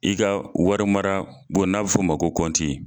I ka wari mara bon n'a bɛ fɔ o ma ko kɔnti.